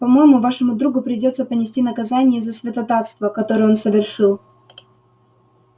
по-моему вашему другу придётся понести наказание за святотатство которое он совершил